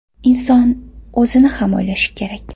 Inson o‘zini ham o‘ylashi kerak.